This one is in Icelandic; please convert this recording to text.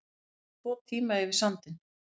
Voru tvo tíma yfir sandinn